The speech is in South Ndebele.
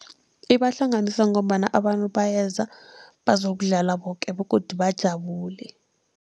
Ibahlanganisa ngombana abantu bayeza bazokudlala boke begodu bajabule.